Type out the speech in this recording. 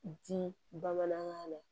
Di bamanankan la